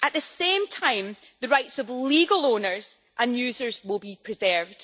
At the same time, the rights of legal owners and users will be preserved.